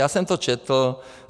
Já jsem to četl.